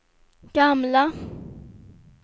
gamla